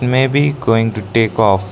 may be going to take off.